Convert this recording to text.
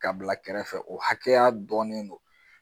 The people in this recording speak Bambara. Ka bila kɛrɛfɛ o hakɛya dɔɔnnen don